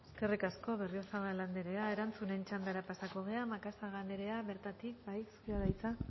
eskerrik asko berriozabal anderea erantzunen txandara pasatu gara macazaga anderea bertatik bai zurea da hitza